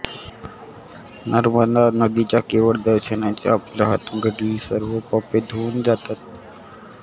नर्मदा नदीच्या केवळ दर्शनानेच आपल्या हातून घडलेली सर्व पापे धुवून जातात